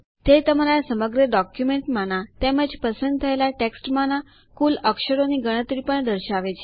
તે તમારા સમગ્ર ડોક્યુમેન્ટમાના તેમજ પસંદ થયેલ ટેક્સ્ટમાંના કુલ અક્ષરોની ગણતરી પણ દર્શાવે છે